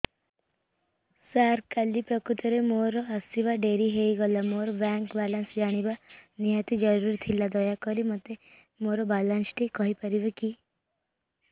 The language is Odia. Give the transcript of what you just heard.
ସାର କାଲି ପ୍ରକୃତରେ ମୋର ଆସିବା ଡେରି ହେଇଗଲା ମୋର ବ୍ୟାଙ୍କ ବାଲାନ୍ସ ଜାଣିବା ନିହାତି ଜରୁରୀ ଥିଲା ଦୟାକରି ମୋତେ ମୋର ବାଲାନ୍ସ ଟି କହିପାରିବେକି